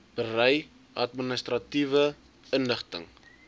berei administratiewe inligting